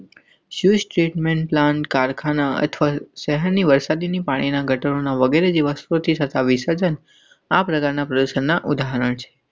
સુસ Treatment plan કારખાના અને શહેરની વરસાદી પાણીની ગટરો વગેરેની વસતિ સત્તાવીસર્ધન આ પ્રકારના પ્રદર્શનના ઉદાહરણ.